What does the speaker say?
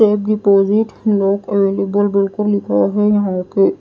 check deposit lock available बोल कर लिखा हुआ है यहां पे--